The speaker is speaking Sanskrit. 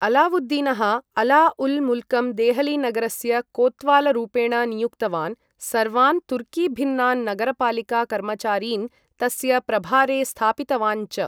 अलावुद्दीनः अला उल् मुल्कं देहलीनगरस्य कोत्वालरूपेण नियुक्तवान्, सर्वान् तुर्कीभिन्नान् नगरपालिका कर्मचारीन् तस्य प्रभारे स्थापितवान् च।